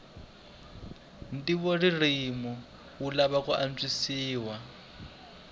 ntivoririmi wu lava ku antswisiwa